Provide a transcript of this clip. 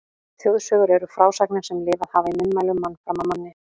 Þjóðsögur eru frásagnir sem lifað hafa í munnmælum mann fram af manni.